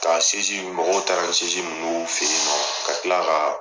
Ka ninnu, mɔgɔw taara ni minnu y'u fɛ yen nɔ. Ka kila ka